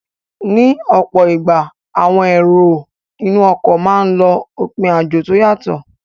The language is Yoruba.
Ní ọ̀pọ̀ ìgbà, àwọn èrò inú ọkọ̀ máa n lọ òpin àjò tó yàtọ